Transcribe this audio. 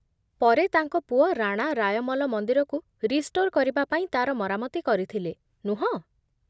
ପରେ ତାଙ୍କ ପୁଅ ରାଣା ରାୟମଲ ମନ୍ଦିରକୁ ରିଷ୍ଟୋର୍ କରିବା ପାଇଁ ତା'ର ମରାମତି କରିଥିଲେ, ନୁହଁ?